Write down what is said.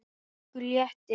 Okkur létti.